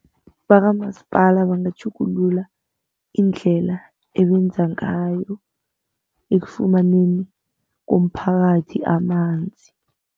Bakamasipala bangatjhugulula indlela ebenza ngayo, ekufumaneni komphakathi amanzi.